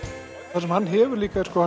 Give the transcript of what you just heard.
það sem hann hefur líka er sko